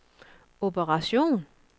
operation